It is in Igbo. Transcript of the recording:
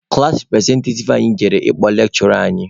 Klaasị repụrezentativ anyị jere ịkpọ lekshụra anyị.